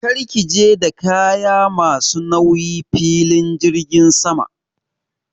Kar ki je da kaya ma su nauyi filin jirgin sama!